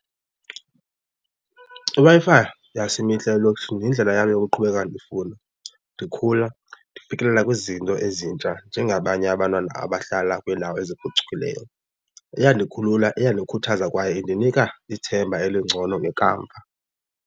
IWi-Fi yasimihla elokishini yindlela yam yokuqhubeka ndifunde, ndikhula, ndifikelela kwizinto ezintsha njengabanye abantwana abahlala kwiindawo eziphucukileyo. Iyandikhulula, iyandikhuthaza kwayo indinika ithemba elingcono ngekamva.